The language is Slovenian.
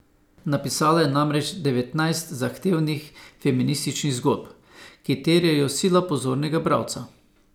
Napisala je namreč devetnajst zahtevnih feminističnih zgodb, ki terjajo sila pozornega bralca.